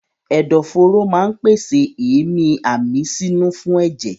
Ẹ̀dọ̀ fóró máa pèsè èémí àmísínú fún ẹ̀jẹ̀.